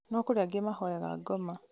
No kũrĩ angĩ mahoyaga ngoma